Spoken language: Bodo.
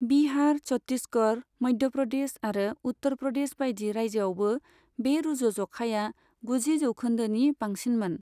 बिहार, छत्तीसगढ़, मध्य प्रदेश आरो उत्तर प्रदेश बायदि रायजोआवबो बे रुजुज'खाया गुजि जौखोन्दोनि बांसिनमोन।